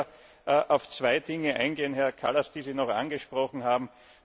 Ich möchte nur auf zwei Dinge eingehen, Herr Kallas, die Sie noch angesprochen haben.